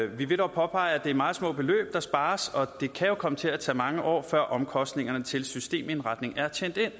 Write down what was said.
vi vil dog påpege at det er meget små beløb der spares og det kan jo komme til at tage mange år før omkostningerne til systemindretning er